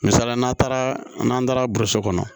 Misalila n'an taara n'an taara boroso kɔnɔ